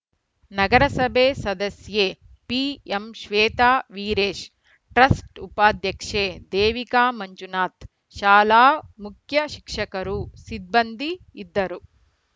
ನಗರಸಭೆ ಸದಸ್ಯೆ ಪಿಎಂಶ್ವೇತಾ ವೀರೇಶ್‌ ಟ್ರಸ್ಟ್‌ ಉಪಾಧ್ಯಕ್ಷೆ ದೇವಿಕಾ ಮಂಜುನಾಥ್‌ ಶಾಲಾ ಮುಖ್ಯ ಶಿಕ್ಷಕರು ಸಿಬ್ಬಂದಿ ಇದ್ದರು